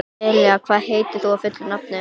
Elea, hvað heitir þú fullu nafni?